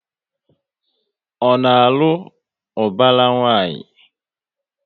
Ọ na alụ ubara nwanyi?